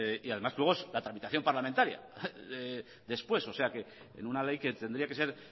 y además luego es la tramitación parlamentaria después o sea que en una ley que tendría que ser